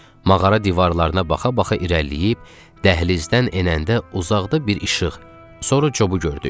Mağara divarlarına baxa-baxa irəliləyib, dəhlizdən enəndə uzaqda bir işıq, sonra Cobu gördük.